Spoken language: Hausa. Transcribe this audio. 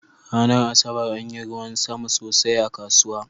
Ranar Asabar anyi ruwan sama sosai a kasuwa.